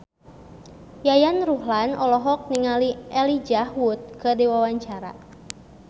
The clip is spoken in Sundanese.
Yayan Ruhlan olohok ningali Elijah Wood keur diwawancara